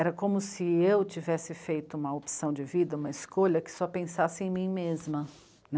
Era como se eu tivesse feito uma opção de vida, uma escolha que só pensasse em mim mesma, né?